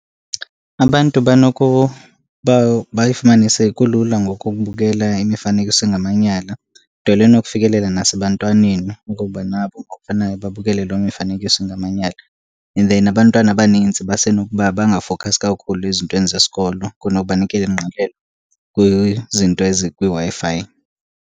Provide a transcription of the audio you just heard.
Abantu banokuba bayifumane sekulula ngoku ukubukela imifanekiso engamanyala, nto leyo enokufikelela nasebantwaneni okokuba nabo ngokufanayo babukele loo mifanekiso ingamanyala. And then abantwana abaninzi basenokuba bangafokhasi kakhulu ezintweni zesikolo kunoko banikele ingqalelo kwizinto ezikwiWi-Fi.